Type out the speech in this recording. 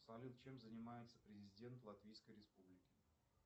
салют чем занимается президент латвийской республики